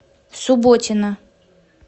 субботина